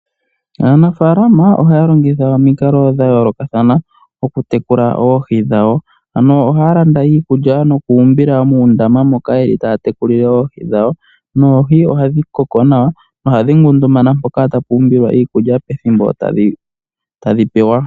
Aanafaalama ohaya longitha omikalo dha yoolokathana okutekula oohi dhawo, ano ohaya landa iikulya noku umbila muundama moka taya tekulile oohi dhawo noohi ohadhi koko nawa nohadhi ngundumana mpoka hapu umbilwa iikulya pethimbo tadhi pewa.